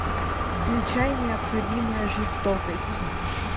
включай необходимая жестокость